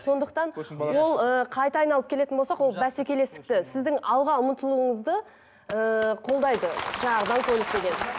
сондықтан ол ыыы қайта айналып келетін болсақ ол бәсекелестікті сіздің алға ұмытылуыңызды ыыы қолдайды жаңағы даңғойлық деген